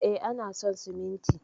E, ana son siminti